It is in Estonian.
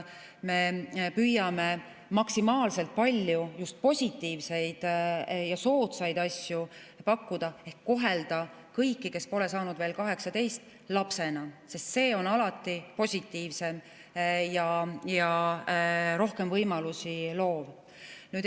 Me püüame maksimaalselt palju positiivseid soodsaid asju pakkuda, kohelda kõiki, kes pole saanud veel 18, lapsena, sest see on alati positiivsem ja rohkem võimalusi loov.